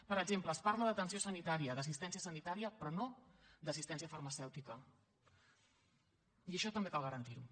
per exemple es parla d’atenció sanitària d’assistència sanitària però no d’assistència farmacèutica i això també cal garantir ho